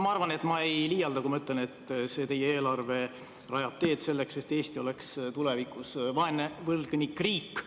Ma arvan, et ma ei liialda, kui ütlen, et teie eelarve rajab teed selleks, et Eesti oleks tulevikus vaene võlgnikriik.